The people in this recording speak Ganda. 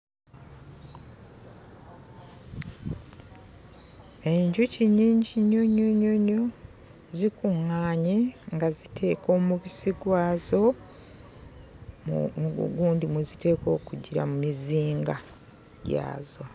Enjuki nnyingi nnyo nnyo nnyo nnyo, zikuŋŋaanye nga ziteeka omubisi gwazo mu mu bugundi mwe ziteekwa okugira, mu muzinga gyazo.